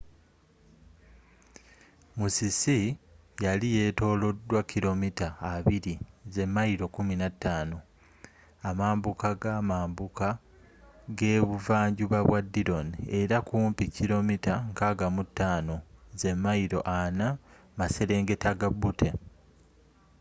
musisi yali yetolodwa kilo mita 20mayilo 15 amambuka ga amambuka g'ebuva njuba bwa dillon era kumpi kilo mita 65 mayilo 40 maserengeta ga butte